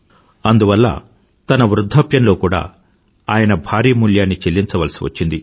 అందువల్ల తన వృధ్ధాప్యంలో కూడా ఆయన భారీ మూల్యాన్ని చెల్లించాల్సి వచ్చింది